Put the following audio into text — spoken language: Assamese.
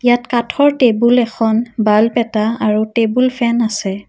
ইয়াত কাঠৰ টেবুল এখন বাল্ব এটা আৰু টেবুল ফেন আছে।